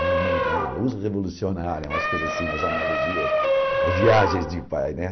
É o nome da luz revolucionária, umas coisas assim, umas analogias, as viagens de pai, né?